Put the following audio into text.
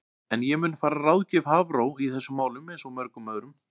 En ég mun fara að ráðgjöf Hafró í þessum málum eins og mörgum öðrum.